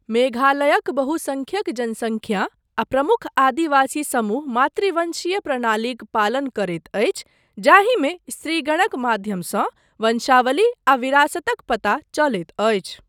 मेघालयक बहुसंख्यक जनसंख्या आ प्रमुख आदिवासी समूह मातृवंशीय प्रणालीक पालन करैत अछि जाहिमे स्त्रीगणक माध्यमसँ वंशावली आ विरासतक पता चलैत अछि।